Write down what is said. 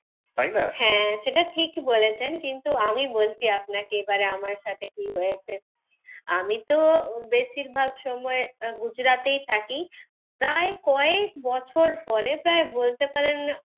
তাই না? হ্যাঁ সেটা ঠিকই বলেছেন কিন্তু আমি বলছি আপনাকে আমার সাথে কি হয়েছে। আমি তো বেশীর ভাগ সময় গুজরাতেই থাকি। প্রায় কয়েক বছর পরে প্রায় বলতে পারেন,